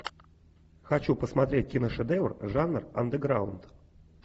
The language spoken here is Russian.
хочу посмотреть киношедевр жанр андеграунд